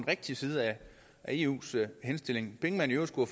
rigtige side af eus henstilling penge man i øvrigt skulle